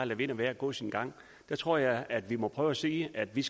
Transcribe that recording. lade vind og vejr gå sin gang så tror jeg at vi må prøve at sige at vi